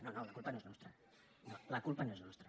no no la culpa no és nostra no la culpa no és nostra